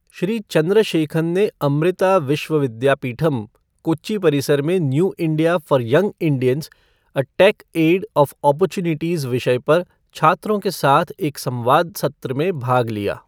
श्री चंद्रशेखन ने अमृता विश्व विद्यापीठम, कोच्चि परिसर में new India for young Indians a techade of opportunities विषय पर छात्रों के साथ एक संवाद सत्र में भाग लिया।